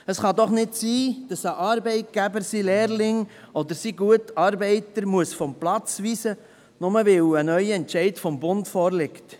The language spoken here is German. Es kann doch nicht sein, dass ein Arbeitgeber seinen Lehrling oder seinen guten Arbeiter vom Platz weisen muss, nur, weil ein neuer Entscheid des Bundes vorliegt.